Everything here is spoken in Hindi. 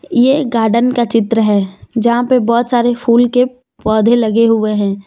ये एक गार्डन का चित्र है जहाँ पर बहुत सारे फूल के पौधे लगे हुए हैं।